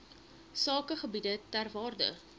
sakegebiede ter waarde